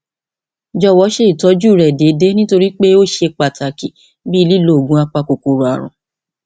jọwọ ṣe ìtọjú rẹ déédéé nítorí pé ó ṣe pàtàkì bíi lílo oògùn apakòkòrò ààrùn